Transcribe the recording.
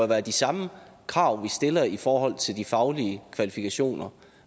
være de samme krav vi stiller i forhold til de faglige kvalifikationer